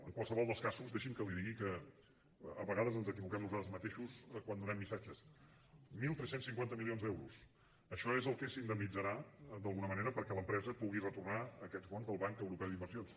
en qualsevol dels casos deixi’m que li digui que a vegades ens equivoquem nosaltres mateixos quan donem missatges tretze cinquanta milions d’euros això és el que s’indemnitzarà d’alguna manera perquè l’empresa pugui retornar aquests bons del banc europeu d’inversions